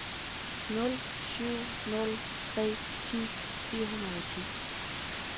nul syv nul tre ti fire hundrede og ni